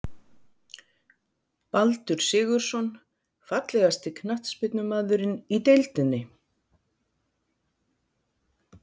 Baldur Sigurðsson Fallegasti knattspyrnumaðurinn í deildinni?